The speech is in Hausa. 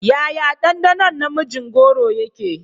Yaya danɗɗanon na mijin goro yake?